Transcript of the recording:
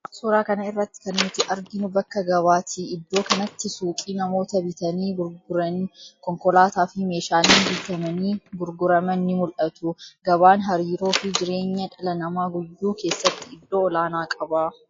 Suuraa kana irratti kan nuti arginu bakka gabaati. Iddoo kanatti suuqii, namoota bitanii gurguran, konkolaataa fi meshaaleen bitamanii gurguraman ni mul'atu. Gabaan hariiroo fi jireenya dhala namaa guyyuu keessatti iddoo olaanaa qaba.